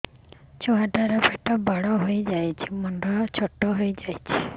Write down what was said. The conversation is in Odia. ଛୁଆ ଟା ର ପେଟ ବଡ ହେଇଯାଉଛି ମୁଣ୍ଡ ଛୋଟ ହେଇଯାଉଛି